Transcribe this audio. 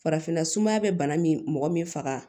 Farafinna sumaya bɛ bana min mɔgɔ min faga